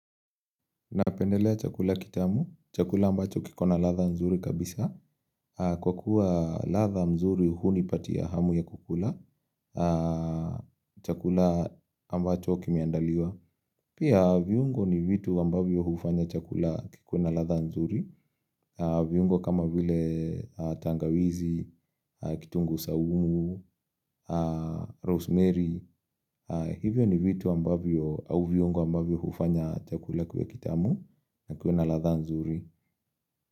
Napendelea chakula kitamu. Chakula ambacho kiko na ladha nzuri kabisa. Kwa kuwa ladha mzuri hunipatia hamu ya kukula. Chakula ambacho kimiandaliwa. Pia viungo ni vitu ambavyo hufanya chakula ikuwe na ladha nzuri, viungo kama vile tangawizi, kitunguu saumu, rosemary, hivyo ni vitu ambavyo au viungo ambavyo hufanya chakula kiwe kitamu na kiwe na ladha nzuri.